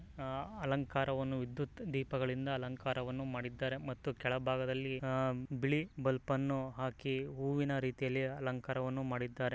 ಅಲಂಕಾರ ಅನ್ನು ವಿದ್ಯುತ್ ದೀಪ ದಿಂದ ಅಲಂಕಾರ ಮಾಡಿದ್ದಾರೆ ಮತ್ತೆ ಕೆಳ ಭಾಗದಲ್ಲಿ ಬಿಳಿ ಬಲ್ಪ್ ಅನ್ನು ಹಾಕಿ ಹೂವಿನ ರೀತಿಯಲ್ಲಿ ಅಲಂಕಾರ ಅನ್ನು ಮಾಡಿದ್ದಾರೆ.